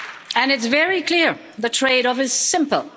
And it's very clear the trade off is simple.